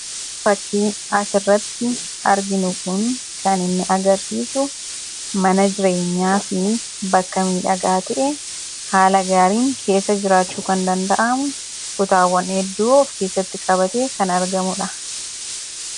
Fakkiin asirratti arginu kun kan inni agarsiisu mana jirenyaa fi bakka miidhagaa ta'e haala gaariin keessa jiraachuu kan danda'amu, kutaawwan hedduu of keessatti qabatee kan argamudha.